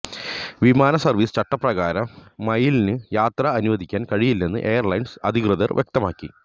വിമാന സർവീസ് ചട്ടപ്രകാരം മയിലിന് യാത്ര അനുവദിക്കാൻ കഴിയില്ലെന്ന് എയർലൈൻസ് അധികൃതർ വ്യക്തമാക്കി